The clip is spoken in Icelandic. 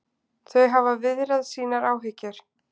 Þau hafa viðrað sínar áhyggjur